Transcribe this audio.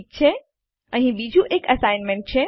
ઠીક છે અહીં બીજું એક અસાઇનમેન્ટ છે